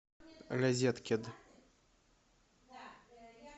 розеткед